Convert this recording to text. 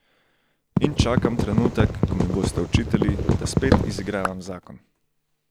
In čakam trenutek, ko mi boste očitali, da spet izigravam zakon.